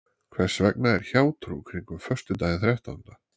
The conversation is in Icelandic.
Hvers vegna er hjátrú kringum föstudaginn þrettánda?